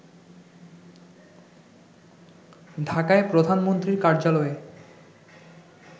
ঢাকায় প্রধানমন্ত্রীর কার্যালয়ে